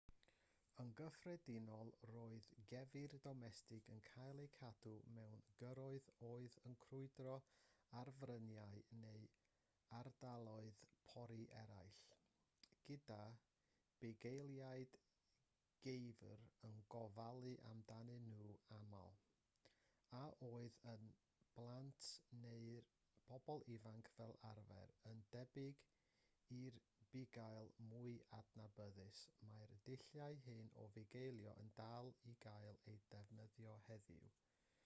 yn gyffredinol roedd geifr domestig yn cael eu cadw mewn gyrroedd oedd yn crwydro ar fryniau neu ardaloedd pori eraill gyda bugeiliaid geifr yn gofalu amdanyn nhw'n aml a oedd yn blant neu'n bobl ifanc fel arfer yn debyg i'r bugail mwy adnabyddus mae'r dulliau hyn o fugeilio yn dal i gael eu defnyddio heddiw